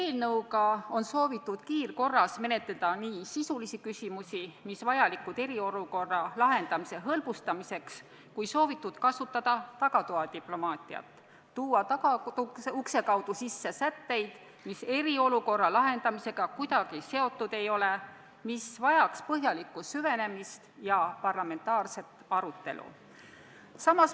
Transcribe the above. Selle eelnõu puhul on soovitud kiirkorras menetleda nii sisulisi küsimusi, mis on vajalikud eriolukorra lahendamise hõlbustamiseks, kui ka kasutada tagatoadiplomaatiat, st tuua tagaukse kaudu sisse sätteid, mis eriolukorra lahendamisega kuidagi seotud ei ole ning mis vajaks põhjalikku süvenemist ja parlamentaarset arutelu.